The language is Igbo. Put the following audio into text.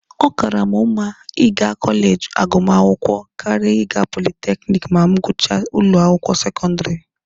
Ọ kaara mụ mma ịga kọleji agụmakwụkwọ karịa ịga politekiniki ma m gụchaa ụlọ akwụkwọ sekọndịrị.